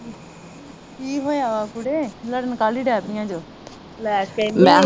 ਕੀ ਹੋਇਆ ਵਾ ਕੁੜੇ ਲੜਣ ਕਾਹਲੀ ਦੇ ਪੀਆ ਜੋ